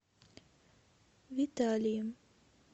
виталием